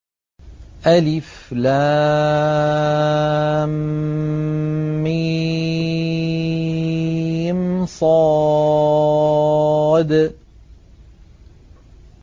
المص